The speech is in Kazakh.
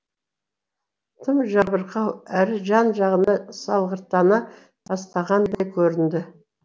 тым жабырқау әрі жан жағына салғырттана бастағандай көрінді